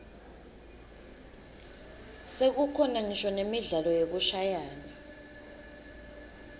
sekukhona ngisho nemidlalo yekushayana